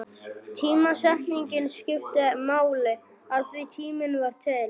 Tímasetningin skipti máli, af því tíminn var til.